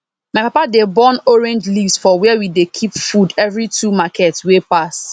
my papa dey burn orange leaves for where we dey keep food every two market wey pass